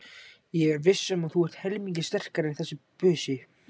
Ég er viss um að þú ert helmingi sterkari en þessi busi.